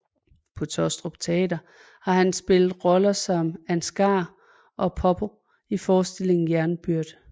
På Taastrup Teater har han spillet roller som Ansgar og Poppo i forestillingen Jernbyrd